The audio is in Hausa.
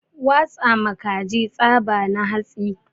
Watsa ma kaji tsaba na hatsi